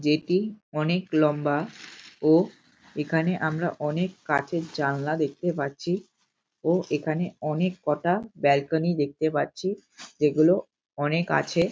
যেটি অনেক লম্বা ও এখানে আমারা অনেক কাঁচের জানলা দেখতে পাচ্ছি ও এখানে অনেক কটা দেখতে পাচ্ছি যেগুলো অনেক আছে ।